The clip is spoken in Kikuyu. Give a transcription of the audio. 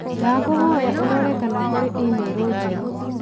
Ndagũkũhoya ũrorere kana kũrĩ i-mīrū njerũ